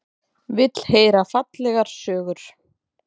Vill heyra fallegar sögur.